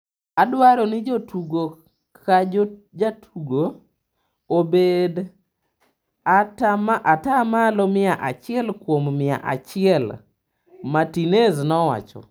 Adwaro ni jatugo ka jatugo obed ata malo mia achiel kuom mia achiel," Martinez nowacho.